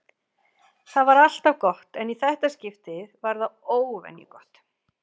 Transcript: Það var alltaf gott en í þetta skipti var það óvenju gott.